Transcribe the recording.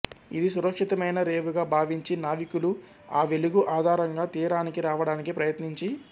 ఇది సురక్షితమైన రేవుగా భావించి నావికులు ఆ వెలుగు ఆధారంగా తీరానికి రావడానికి ప్రయత్నించి